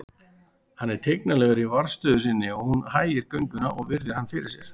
Hann er tignarlegur í varðstöðu sinni og hún hægir gönguna og virðir hann fyrir sér.